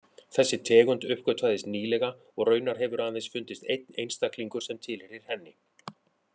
Þessi tegund uppgötvaðist nýlega og raunar hefur aðeins fundist einn einstaklingur sem tilheyrir henni.